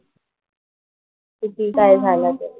किती काय झालं तरी.